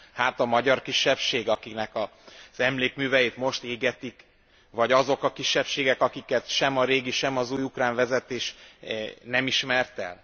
Hát a magyar kisebbség, akinek az emlékműveit most égetik, vagy azok a kisebbségek, akiket sem a régi, sem az új ukrán vezetés nem ismert el?